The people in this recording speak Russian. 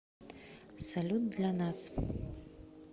салют для нас